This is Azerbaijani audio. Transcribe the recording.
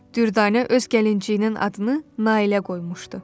Dürdanə öz gəlinciyinin adını Nailə qoymuşdu.